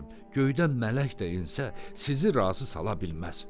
Göydən mələk də ensə, sizi razı sala bilməz.